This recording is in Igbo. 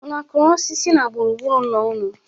Unu kụrụ osisi na gburu gburu ụlọ unu?